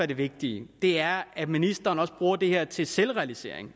det vigtige er at ministeren også bruger det her til selvransagelse